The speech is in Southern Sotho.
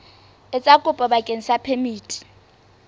etsa kopo bakeng sa phemiti